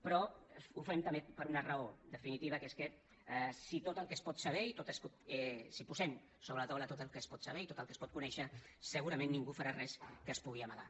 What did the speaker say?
però ho fem també per una raó definitiva que és que si posem sobre la taula tot el que es pot saber i tot el que es pot conèixer segurament ningú farà res que es pugui amagar